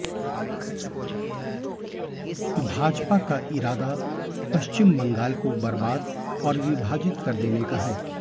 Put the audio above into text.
भाजपा का इरादा पश्चिम बंगाल को बर्बाद और विभाजित कर देने का है